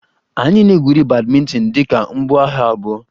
Anyị na-egwuri badminton dị ka mbuaha abụọ